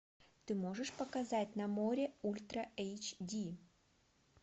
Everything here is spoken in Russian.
ты можешь показать на море ультра эйч ди